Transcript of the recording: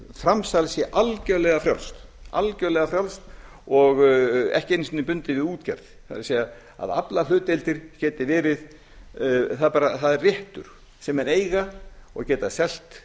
framsal sé algerlega frjálst og ekki einu sinni bundið við útgerð það er aflahlutdeildir sé réttur sem menn eiga og geta selt